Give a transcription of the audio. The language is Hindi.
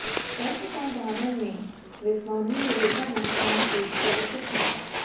सर्वसाधारण में वे स्वामी विवेकानंद नाम से परिचित हैं